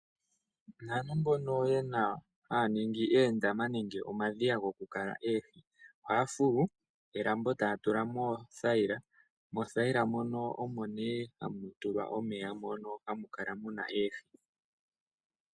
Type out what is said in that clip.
Aantu mbono haya ningi oondama nenge oondama dhokukala oohi. Ohaya fulu elambo e taya tula mo oothayila, moothayila mono omo nee hamu tulwa omeya mono hamu kala mu na oohi.